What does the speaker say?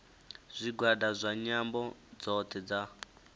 zwigwada zwa nyambo dzothe dza